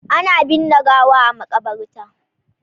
Ana binne gawa a Makabarta.